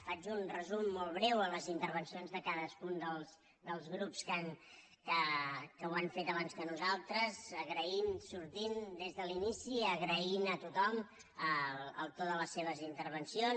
faig un resum molt breu a les intervencions de cadascun dels grups que ho han fet abans que nosaltres agraint sortint des de l’inici agraint a tothom el to de les seves intervencions